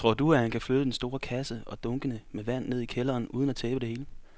Tror du, at han kan flytte den store kasse og dunkene med vand ned i kælderen uden at tabe det hele?